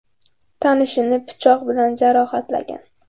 tanishini pichoq bilan jarohatlagan.